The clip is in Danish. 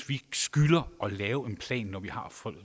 vi skylder at lave en plan